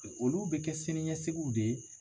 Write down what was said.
Olu bɛ kɛ sini ɲɛsigiw de ye.